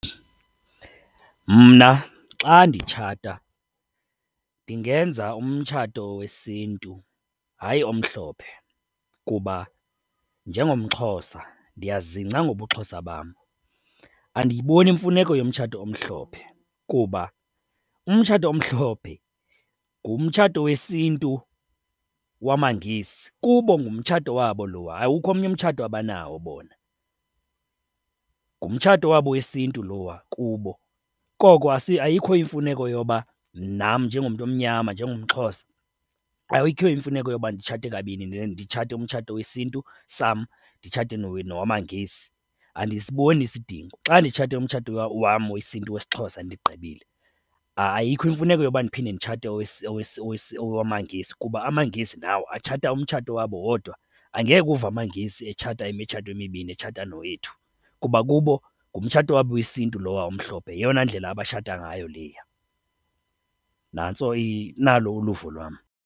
Mna xa nditshata, ndingenza umtshato wesiNtu, hayi omhlophe. Kuba njengomXhosa ndiyazingca ngobuXhosa bam, andiyiboni imfuneko yomtshato omhlophe kuba umtshato omhlophe ngumtshato wesiNtu wamaNgesi. Kubo ngumtshato wabo lowa, awukho omnye umtshato abanawo bona. Ngumtshato wabo wesiNtu lowa kubo, koko ayikho imfuneko yoba nam njengomntu omnyama, njengomXhosa, ayikho imfuneko yoba nditshate kabini. Nditshate umtshato wesiNtu sam, nditshate nowamaNgesi, andisiboni isidingo. Xa nditshate umtshato wam wesiNtu, wesiXhosa, ndigqibile. Ayikho imfuneko yoba ndiphinde nditshate owamaNgesi kuba amaNgesi nawo atshata umtshato wabo wodwa. Angeke uve amaNgesi etshata imitshato emibini, etshata nowethu kuba kubo ngumtshato wabo wesiNtu lowa umhlophe, yeyona ndlela abatshata ngayo leya. Nantso nalo uluvo lwam.